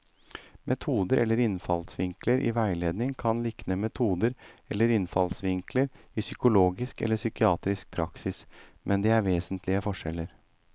Metoder eller innfallsvinkler i veiledning kan likne metoder eller innfallsvinkler i psykologisk eller psykiatrisk praksis, men det er vesentlige forskjeller.